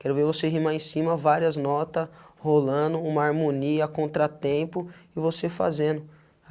Quero ver você rimar em cima várias notas, rolando uma harmonia, contratempo, e você fazendo.